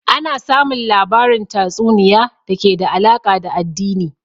Ana samun labarin tatsuniay da ke da alaka da addini